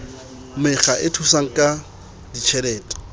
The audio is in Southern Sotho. mekga e thusang ka ditjhelete